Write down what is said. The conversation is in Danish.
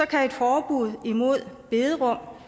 kan et forbud mod bederum